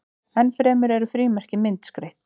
enn fremur eru frímerki myndskreytt